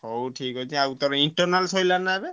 ହଉ ଠିକ୍ ଅଛି ଆଉ ତୋର internal ସଇଲା ନା ଏବେ?